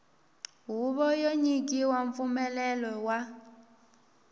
huvo yo nyika mpfumelelo wa